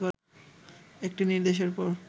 একটি নির্দেশের পর